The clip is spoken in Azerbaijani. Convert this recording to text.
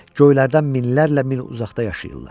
Göylərdən minlərlə min uzaqda yaşayırlar.